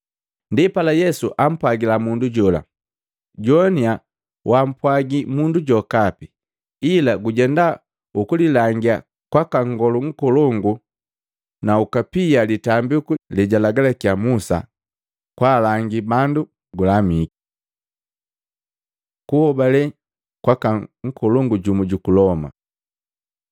Ndipala Yesu ampwagila mundu jola, “Jowania, wampwagi mundu jokapi, ila gujenda ukulilangia kwaka nngolu nkolongu na ukapia litambiku lejalagalakiya Musa, kwaalangi bandu gulamiki.” Kuhobale kwaka nkolongu jumu juku Loma Luka 7:1-10